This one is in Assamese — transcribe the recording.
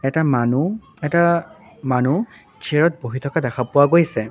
এটা মানুহ এটা মানুহ চিয়াৰত বহি থকা দেখা পোৱা গৈছে।